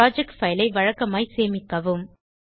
project file ஐவழக்கமாய்ச் சேமிக்கவும்